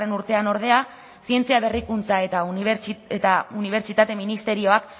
urtean ordea zientzia berrikuntza eta unibertsitate ministerioak